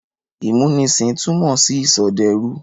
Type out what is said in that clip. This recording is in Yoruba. Ìmúnisìn túmọ̀ sí ìsọdẹrú.